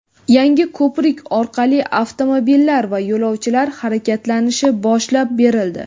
yangi ko‘prik orqali avtomobillar va yo‘lovchilar harakatlanishi boshlab berildi.